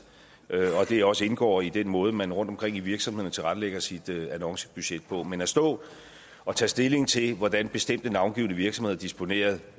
og at det også indgår i den måde som man rundt omkring i virksomhederne tilrettelægger sit annoncebudget på men at stå og tage stilling til hvordan bestemte navngivne virksomheder disponerer